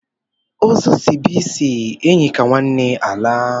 Ozu sibe isi, enyi ka nwanne alaa.